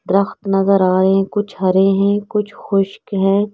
Truck आ रहे हैं कुछ हरे हैं कुछ खश्क हैं.